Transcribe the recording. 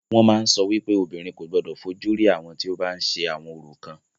Wọ́n máa ń sọ wípé obìnrin kò gbodò fojú rí àwọn tí o bá ń ṣe àwọn orò kan.